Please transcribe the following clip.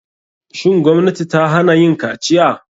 Shin gwamnati ta hana yin kaciya?